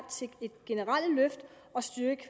til et generelt løft af og styrket